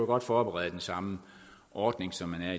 godt forberede den samme ordning som man